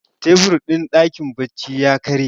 tebur din dakin bacci ya karye